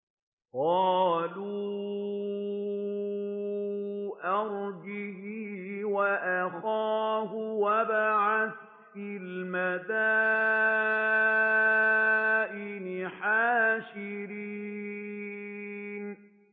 قَالُوا أَرْجِهْ وَأَخَاهُ وَابْعَثْ فِي الْمَدَائِنِ حَاشِرِينَ